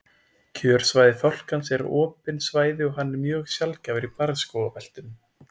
Kjörsvæði fálkans eru opin svæði og hann er því mjög sjaldgæfur í barrskógabeltinu.